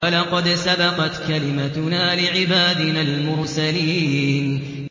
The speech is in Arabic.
وَلَقَدْ سَبَقَتْ كَلِمَتُنَا لِعِبَادِنَا الْمُرْسَلِينَ